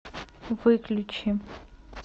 выключи